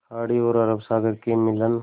खाड़ी तथा अरब सागर के मिलन